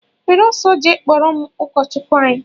Were ọsọ jee kpọrọ m ụkọchukwu anyị!!!!